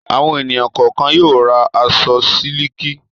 Àwọn ènìyàn kọ̀ọ̀kan yóò ra aṣọ sílíkì.